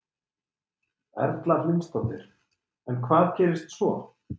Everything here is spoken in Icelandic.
Erla Hlynsdóttir: En hvað gerðist svo?